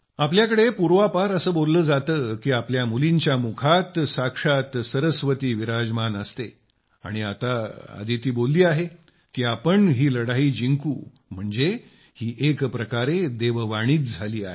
आपल्याकडे पूर्वापार असे बोलले जाते की आपल्या मुलींच्या मुखात साक्षात सरस्वती विराजमान असते आणि आता अदिती बोलली आहे की आपण ही लढाई जिंकू म्हणजे ही एकप्रकारे देव वाणीच झाली आहे